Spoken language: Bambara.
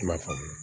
I na faamu